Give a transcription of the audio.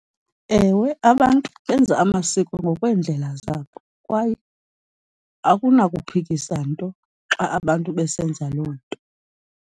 Ewe, abantu benza amasiko ngokweendlela zabo kwaye akunakuphikisa nto xa abantu besenza loo nto.